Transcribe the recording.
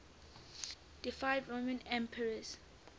deified roman emperors